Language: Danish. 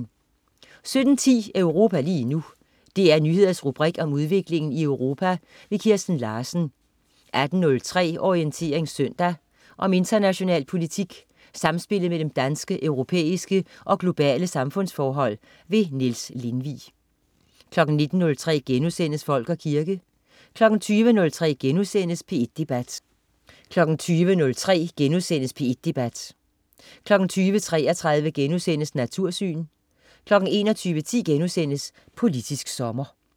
17.10 Europa lige nu. DR Nyheders rubrik om udviklingen i Europa. Kirsten Larsen 18.03 Orientering søndag. Om international politik, samspillet mellem danske, europæiske og globale samfundsforhold. Niels Lindvig 19.03 Folk og kirke* 20.03 P1 Debat* 20.33 Natursyn* 21.10 Politisk sommer*